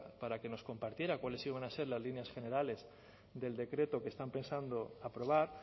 para que nos compartiera cuáles iban a ser las líneas generales del decreto que están pensando aprobar